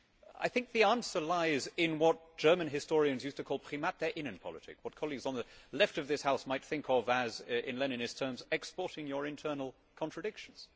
I think the answer lies in what German historians used to call Primat der Innenpolitik', what colleagues on the left of this House might think of as, in Leninist terms, exporting your internal contradictions.